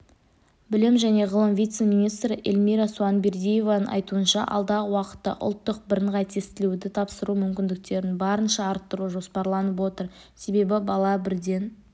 білім және ғылым вице-министрі эльмира сұіанбердиеваның айтуынша алдағы уақытта ұлттық бірыңғай тестілеуді тапсыру мүмкіндіктерін барынша арттыру жоспарланып отыр себебі бала бірден